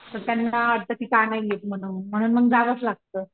तर त्यांना आता तिथे आणायलेत म्हणून जावंच लागत.